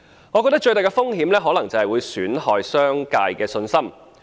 我覺得最大的風險可能是損害商界的信心。